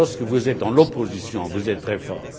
Lorsque vous êtes dans l'opposition, vous êtes très forts.